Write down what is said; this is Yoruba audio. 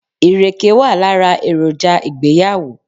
Ìrèké wà lára èròjà ìgbéyàwó.